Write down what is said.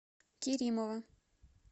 керимова